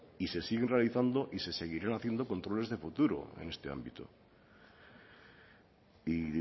y se siguen realizando y se seguirán haciendo controles de futuro en este ámbito y